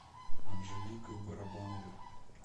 анжеликой барабановой